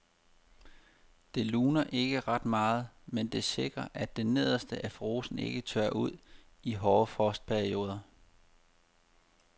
Det luner ikke ret meget, men det sikrer at det nederste af rosen ikke tørrer ud i hårde frostperioder.